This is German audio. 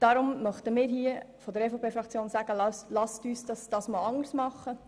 Darum möchten wir hier von der EVP-Fraktion sagen: Lasst es uns dieses Mal anders machen!